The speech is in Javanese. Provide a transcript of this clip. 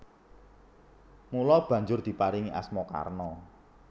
Mula banjur diparingi asma Karna